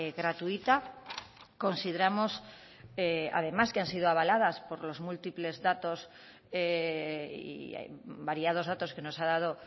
gratuita consideramos además que han sido avaladas por los múltiples datos y variados datos que nos ha dado